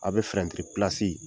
Aw bɛ fɛrɛtiri pilasi